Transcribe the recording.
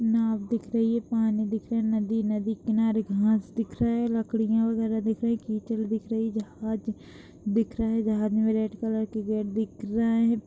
नाँव दिख रही हैं पानी दिख रहा हैं नदी-नदी के किनारे घास दिख रहा हैं लकड़िया वगैरा दिख रही हैं कीचड़ दिख रही जहाज दिख रहा हैं जहाज में रेड कलर के गेट दिख रहे हैं।